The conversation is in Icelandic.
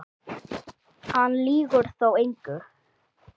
Hann lýgur þá engu.